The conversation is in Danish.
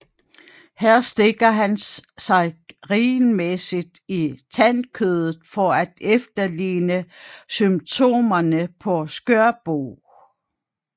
Her stikker han sig regelmæssigt i tandkødet for at efterligne symptomerne på skørbug